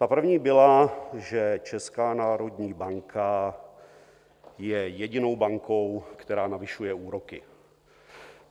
Ta první byla, že Česká národní banka je jedinou bankou, která navyšuje úroky.